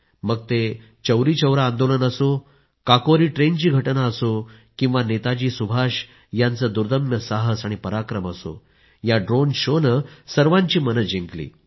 मग ते चौरी चौरा आन्दोलन असो काकोरी ट्रेन ची घटना असो किंवा मग नेताजी सुभाष यांचे दुर्दम्य साहस आणि पराक्रम असो या ड्रोन शो ने सर्वांची मनं जिंकली